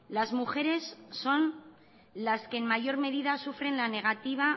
las mujeres son las que en mayor medida sufren la negativa